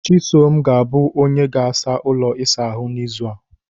chisom ga-abụ onye ga-asa ụlọ isa ahụ n'izu a